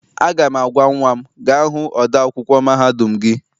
Aga m agwa nnwa m, gaa hụ ode akwụkwọ mahadum gị!